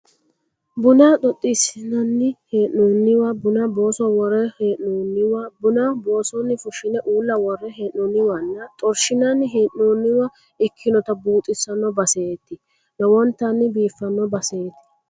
Buna xoxxiissinanno hee'nooniwa, buna booso worre hee'nooniwa, buna boosonni fushshine uulla worre hee'noonniwanna xorshinanni hee'nooniwa ikkinota buuxissanno baseeti lowontanni biiffanno baseeti